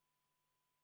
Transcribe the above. Austatud Riigikogu!